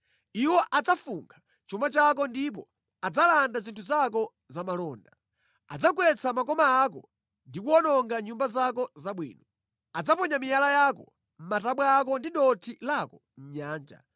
Iwo adzafunkha chuma chako ndipo adzalanda zinthu zako za malonda. Adzagwetsa makoma ako ndi kuwononga nyumba zako zabwino. Adzaponya miyala yako, matabwa ako ndi dothi lako mʼnyanja.